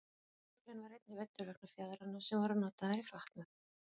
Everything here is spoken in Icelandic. geirfuglinn var einnig veiddur vegna fjaðranna sem voru notaðar í fatnað